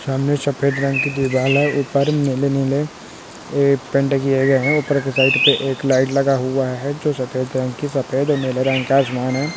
सामने सफेद रंग का दीवाल हैऊपर नील नील पेंट किया गया है ऊपर के साइड पर एक लाइट लगा हुआ हैजो सफेद रंग की सफेद और नीले रंग का आसमान।